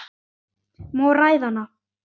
Má ræða hana?